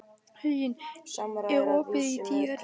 Huginn, er opið í Tíu ellefu?